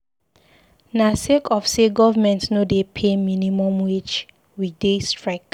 Na sake of say government no dey pay minimum wage we dey strike.